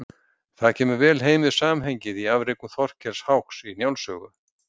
það kemur vel heim við samhengið í afrekum þorkels háks í njáls sögu